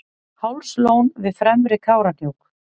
hálslón við fremri kárahnjúk